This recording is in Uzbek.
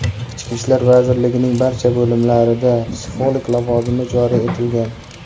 Ichki ishlar vazirligining barcha bo‘limlarida psixolog lavozimi joriy etilgan.